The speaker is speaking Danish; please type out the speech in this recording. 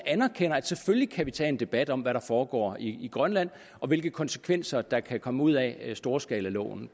selvfølgelig godt kan tage en debat om hvad der foregår i grønland og hvilke konsekvenser der kan komme ud af storskalaloven